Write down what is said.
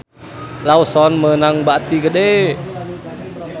Lawson meunang bati gede